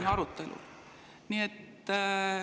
… on arutelul.